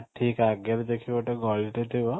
ଠିକ ଆଗରେ ଦେଖିବ ଗଳି ଟେ ଥିବ